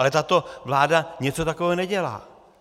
Ale tato vláda něco takového nedělá.